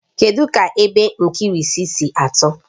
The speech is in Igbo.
Kedu ka epe nkirisi si atọ?